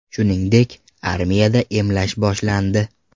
Shuningdek, armiyada emlash boshlandi.